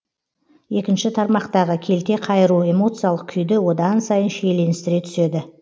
екінші тармақтағы келте қайыру эмоциялық күйді одан сайын шиеленістіре түседі